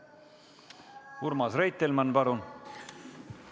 Urmas Reitelmann, palun!